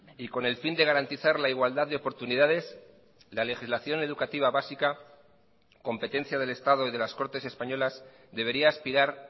y con el fin de garantizar la igualdad de oportunidades la legislación educativa básica competencia del estado y de las cortes españolas debería aspirar